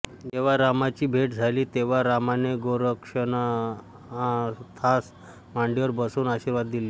जेव्हा रामाची भेट झाली तेव्हा रामाने गोरक्षनाथास मांडीवर बसवून आशीर्वाद दिले